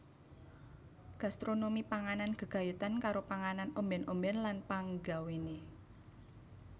Gastronomi panganan gegayutan karo panganan ombèn ombèn lan panggawéné